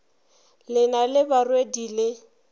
le na le barwedi le